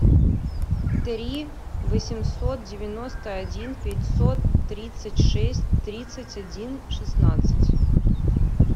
три восемьсот девяносто один пятьсот тридцать шесть тридцать один шестнадцать